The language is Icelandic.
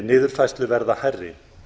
niðurfærslu verða hærri